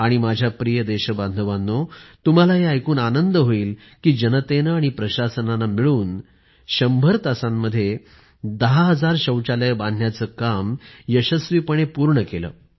आणि माझ्या प्रिय देशबांधवांनो तुम्हाला हे ऐकून आनंद होईल कि जनतेनं आणि प्रशासनानं मिळून १०० तासांमध्ये १० हजार शौचालये बांधण्याचं काम यशस्वीपणे पूर्ण केलं